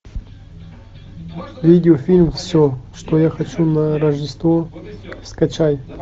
видеофильм все что я хочу на рождество скачай